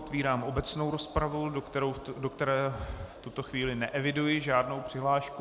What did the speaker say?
Otvírám obecnou rozpravu, do které v tuto chvíli neeviduji žádnou přihlášku.